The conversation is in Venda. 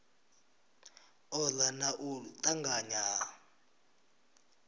ola na u tanganya ha